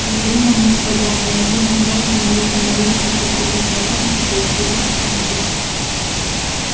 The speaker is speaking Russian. говорю вам господа ни один из вас не имеет ни малейшего представления о том что происходит на самом деле